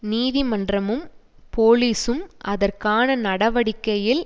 நீதிமன்றமும் போலிஸும் அதற்கான நடவடிக்கையில்